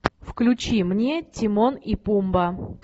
включи мне тимон и пумба